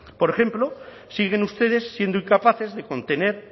por ejemplo siguen ustedes siendo incapaces de contener